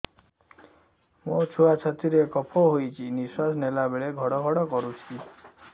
ମୋ ଛୁଆ ଛାତି ରେ କଫ ହୋଇଛି ନିଶ୍ୱାସ ନେଲା ବେଳେ ଘଡ ଘଡ କରୁଛି